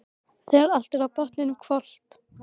Þegar öllu er á botninn hvolft.